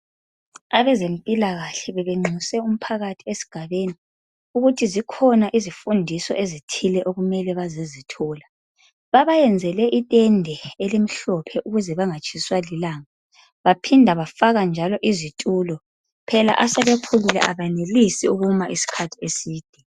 Abezempilakahle bebenxuse umphakathi esigabeni, ukuthi zikhona izifundiso ezithile okumele bazezithola babayenzele itende elimhlophe ukuze bengatshiswa lilanga baphinda bafaka njalo izitulo. Phela asebekhulile abenelisi ukuma isikhathi eside